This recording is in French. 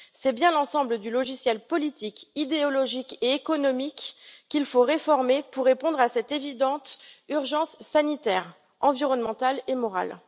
C'est bien l'ensemble du logiciel politique, idéologique et économique qu'il faut réformer pour répondre à cette évidente urgence sanitaire, environnementale et morale.